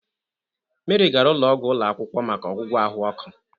Meri gara ụlọ ọgwụ ụlọ akwụkwọ maka ọgwụgwọ ahụ ọkụ.